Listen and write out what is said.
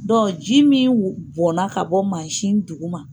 Dɔnku ji min bɔnna ka bɔ maasin dugu ma